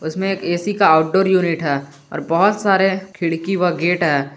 इसमें एक ए_सी का आउटडोर यूनिट है और बहुत सारे खिड़की व गेट है।